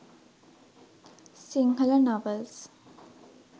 sinhala novels